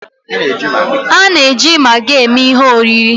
A na-eji Magi eme ihe oriri.